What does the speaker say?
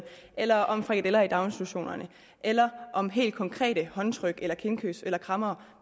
eller om frikadeller i daginstitutionerne eller om helt konkrete håndtryk eller kindkys eller krammere